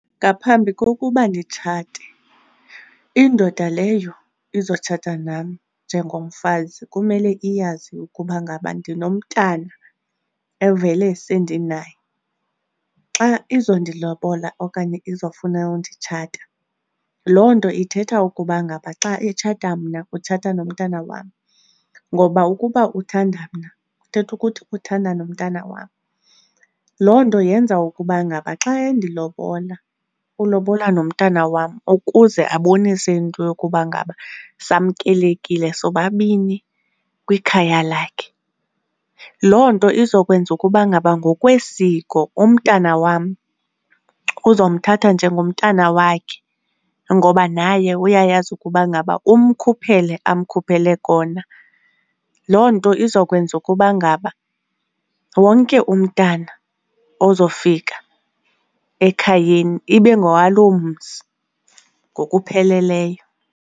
Ngaphambi kokuba nditshate, indoda leyo izotshata nam njengomfazi kumele iyazi ukuba ngaba ndinomntana evele sendinaye. Xa izondilobola okanye izofuna unditshata loo nto ithetha ukuba ngaba xa etshata mna utshata nomntana wam, ngoba ukuba uthanda mna kuthetha ukuthi uthanda nomntana wam. Loo nto yenza ukuba ngaba xa endilobola ulobola nomntana wam ukuze abonise into yokuba ngaba samkelekile sobabini kwikhaya lakhe. Loo nto izokwenza ukuba ngaba ngokwesiko umntana wam uzomthatha njengomntana wakhe ngoba naye uyayazi ukuba ngaba umkhuphele amkhuphele kona. Loo nto izokwenza ukuba ngaba wonke umntana ozofika ekhayeni ibe ngowaloo mzi ngokupheleleyo.